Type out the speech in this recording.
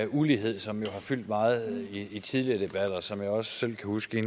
ulighed som jo har fyldt meget i tidligere debatter og som jeg også selv kan huske at